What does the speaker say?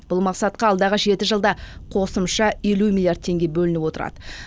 бұл мақсатқа алдағы жеті жылда қосымша елу миллиард теңге бөлініп отырады